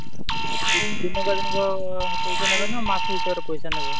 ଦିନକ ଦିନକ ପଇସା ନେବେ ନା ମାସ ହିସାବରେ ପଇସା ନେବେ?